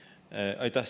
Aitäh!